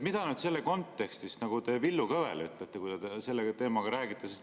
Mida te selle kontekstis nagu Villu Kõvele ütlete, kui te sellel teemal temaga räägite?